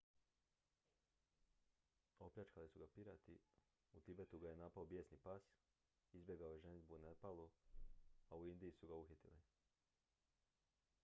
opljačkali su ga pirati u tibetu ga je napao bijesni pas izbjegao je ženidbu u nepalu a u indiji su ga uhitili